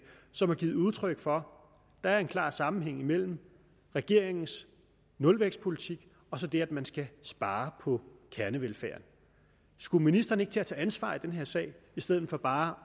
som har givet udtryk for at der er en klar sammenhæng mellem regeringens nulvækstpolitik og så det at man skal spare på kernevelfærden skulle ministeren ikke til at tage ansvar i den her sag i stedet for bare